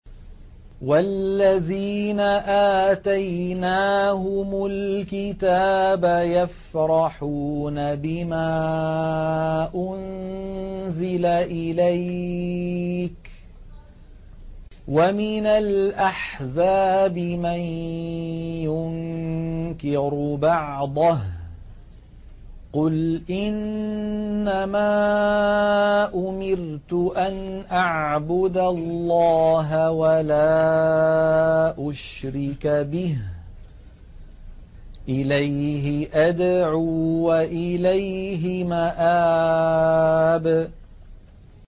وَالَّذِينَ آتَيْنَاهُمُ الْكِتَابَ يَفْرَحُونَ بِمَا أُنزِلَ إِلَيْكَ ۖ وَمِنَ الْأَحْزَابِ مَن يُنكِرُ بَعْضَهُ ۚ قُلْ إِنَّمَا أُمِرْتُ أَنْ أَعْبُدَ اللَّهَ وَلَا أُشْرِكَ بِهِ ۚ إِلَيْهِ أَدْعُو وَإِلَيْهِ مَآبِ